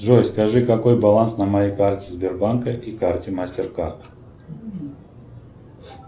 джой скажи какой баланс на моей карте сбербанка и карте мастеркард